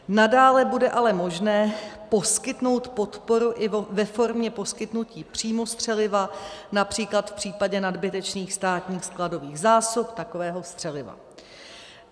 Nadále bude ale možné poskytnout podporu i ve formě poskytnutí přímo střeliva, například v případě nadbytečných státních skladových zásob takového střeliva.